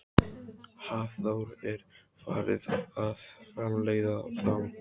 Hafþór: Er farið að framleiða þá?